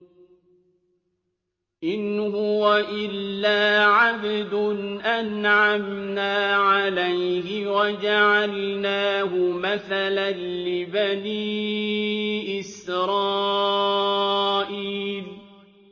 إِنْ هُوَ إِلَّا عَبْدٌ أَنْعَمْنَا عَلَيْهِ وَجَعَلْنَاهُ مَثَلًا لِّبَنِي إِسْرَائِيلَ